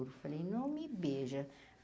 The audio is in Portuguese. Eu falei, não me beija.